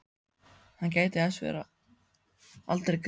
Hann gæti þess að verða aldrei gripinn.